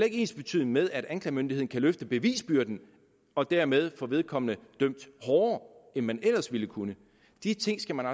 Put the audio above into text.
ikke ensbetydende med at anklagemyndigheden kan løfte bevisbyrden og dermed få vedkommende dømt hårdere end man ellers ville kunne de ting skal man